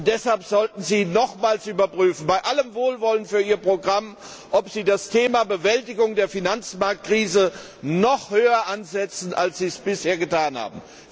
Und deshalb sollten Sie nochmals überprüfen bei allem Wohlwollen für Ihr Programm ob Sie das Thema Bewältigung der Finanzmarktkrise nicht noch höher ansetzen, als Sie es bisher getan haben.